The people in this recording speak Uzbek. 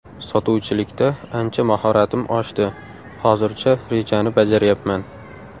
Sotuvchilikda ancha mahoratim oshdi, hozircha rejani bajaryapman.